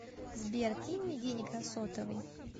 сбер кинь мне денег на сотовый